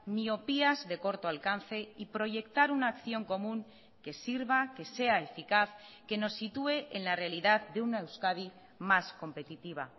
miopías de corto alcance y proyectar una acción común que sirva que sea eficaz que nos sitúe en la realidad de una euskadi más competitiva